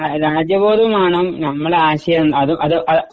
രാജ്യബോധം വേണം നമ്മുടെ ആശയം